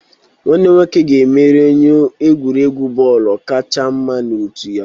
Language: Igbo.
Nwanne m nwoke ga-emeri onye egwuregwu bọọlụ kacha mma na otu ya.